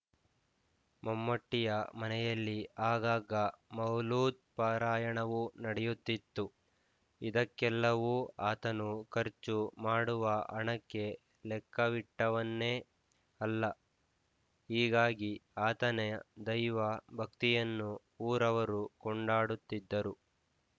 ಮಮ್ಮೂಟಿಯ ಮನೆಯಲ್ಲಿ ಆಗಾಗ ಮೌಲೂದ್ ಪಾರಾಯಣವೂ ನಡೆಯುತ್ತಿತು ಇದಕ್ಕೆಲ್ಲವೂ ಆತನು ಖರ್ಚು ಮಾಡುವ ಹಣಕ್ಕೆ ಲೆಕ್ಕವಿಟ್ಟವನೇ ಅಲ್ಲ ಹೀಗಾಗಿ ಆತನೆಯ ದೈವ ಭಕ್ತಿಯನ್ನು ಊರವರು ಕೊಂಡಾಡುತ್ತಿದ್ದರು